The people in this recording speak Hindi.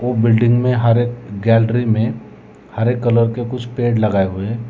बिल्डिंग में हर एक गैलरी में हरे कलर के कुछ पेड़ लगाए हुए।